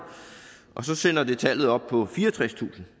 og så sender det tallet op på fireogtredstusind